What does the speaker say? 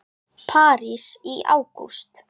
París í ágúst